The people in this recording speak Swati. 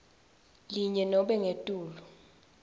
linye nobe ngetulu